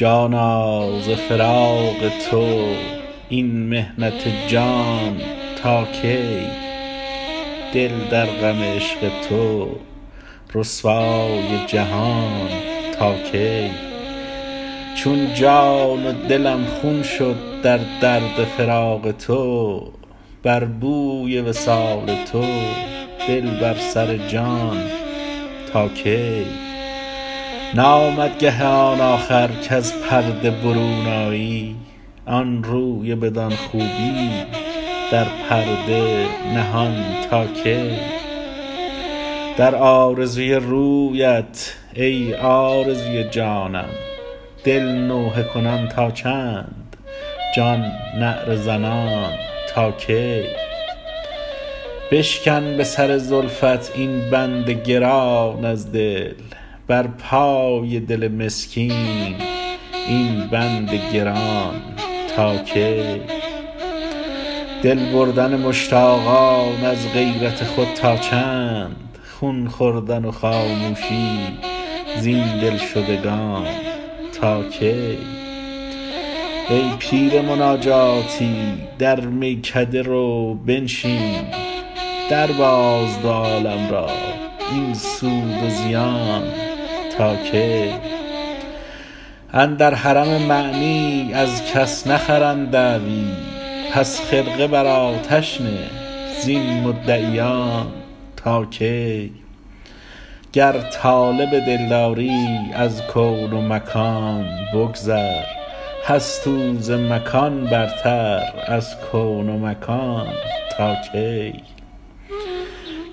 جانا ز فراق تو این محنت جان تا کی دل در غم عشق تو رسوای جهان تا کی چون جان و دلم خون شد در درد فراق تو بر بوی وصال تو دل بر سر جان تا کی نامد گه آن آخر کز پرده برون آیی آن روی بدان خوبی در پرده نهان تا کی در آرزوی رویت ای آرزوی جانم دل نوحه کنان تا چند جان نعره زنان تا کی بشکن به سر زلفت این بند گران از دل بر پای دل مسکین این بند گران تا کی دل بردن مشتاقان از غیرت خود تا چند خون خوردن و خاموشی زین دلشدگان تا کی ای پیر مناجاتی در میکده رو بنشین درباز دو عالم را این سود و زیان تا کی اندر حرم معنی از کس نخرند دعوی پس خرقه بر آتش نه زین مدعیان تا کی گر طالب دلداری از کون و مکان بگذر هست او ز مکان برتر از کون و مکان تا کی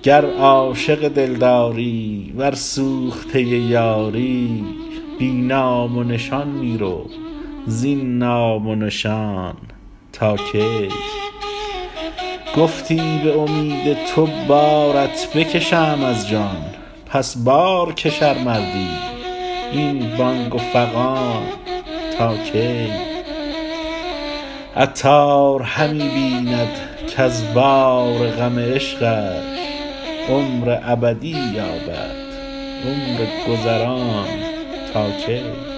گر عاشق دلداری ور سوخته یاری بی نام و نشان می رو زین نام و نشان تا کی گفتی به امید تو بارت بکشم از جان پس بارکش ار مردی این بانگ و فغان تا کی عطار همی بیند کز بار غم عشقش عمر ابدی یابد عمر گذران تا کی